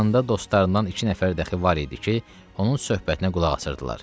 Yanında dostlarından iki nəfər dəxi var idi ki, onun söhbətinə qulaq asırdılar.